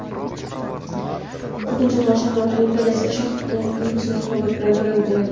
Butunjahon shaxmat olimpiadasida O‘zbekiston Singapur bilan durang o‘ynadi.